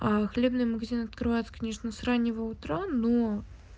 а хлебный магазин открывается книжный с раннего утра но